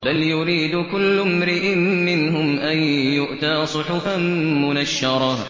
بَلْ يُرِيدُ كُلُّ امْرِئٍ مِّنْهُمْ أَن يُؤْتَىٰ صُحُفًا مُّنَشَّرَةً